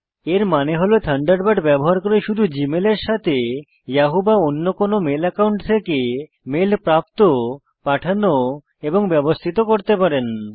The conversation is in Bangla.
এর মানে হল থান্ডারবার্ড ব্যবহার করে শুধু জীমেল সাথে ইয়াহু বা অন্য কোন মেল একাউন্ট থেকে মেল প্রাপ্ত পাঠানো এবং ব্যবস্থিত করতে পারেন